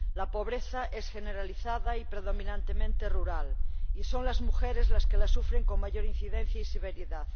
La pobreza es generalizada y predominantemente rural y son las mujeres las que la sufren con mayor frecuencia y severidad.